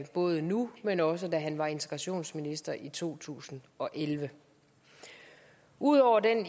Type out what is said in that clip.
både nu men også da han var integrationsminister i to tusind og elleve ud over den